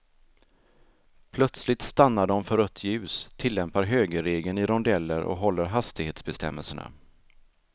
Plötsligt stannar de för rött ljus, tillämpar högerregeln i rondeller och håller hastighetsbestämmelserna.